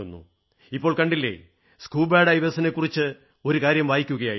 ഇപ്പോൾ കണ്ടില്ലേ സ്കൂബാ ഡൈവേഴ്സിനെക്കുറിച്ച് ഒരു കാര്യം വായിക്കയായിരുന്നു